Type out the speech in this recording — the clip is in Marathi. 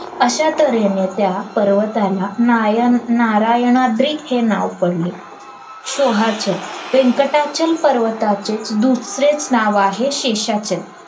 अश्या तर्हेने त्या पर्वताला नायन नारायणाद्री हे नाव पडले शोहाच व्यंकटाचल पर्वताचे दुसरेच नाव आहे शेषाचल